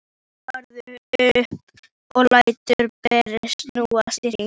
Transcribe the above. Svo hopparðu upp og lætur brettið snúast í hring.